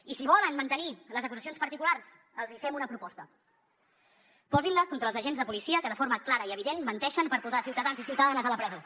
i si volen mantenir les acusacions particulars els hi fem una proposta posin les contra els agents de policia que de forma clara i evident menteixen per posar ciutadans i ciutadanes a la presó